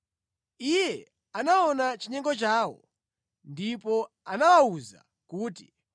Iye anaona chinyengo chawo ndipo anawawuza kuti,